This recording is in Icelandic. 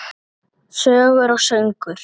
Sögur og söngur.